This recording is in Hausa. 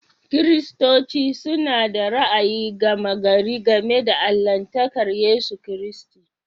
Kiristanci, suna da ra'ayi gama gari game da allahntakar Yesu Kiristi.